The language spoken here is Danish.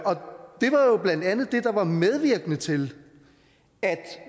blandt andet det der var medvirkende til at